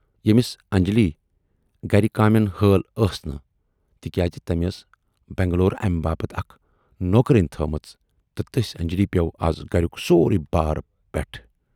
ییمِس انجلی گرِ کامٮ۪ن ہٲل ٲس نہٕ تِکیازِ تٔمۍ ٲس بنگلورٕ امہِ باپتھ اَکھ نوکرٲنۍ تھٲومٕژ تہٕ تٔسۍ اَنجلی پٮ۪و از گریُک سورُے بار پٮ۪ٹھٕ۔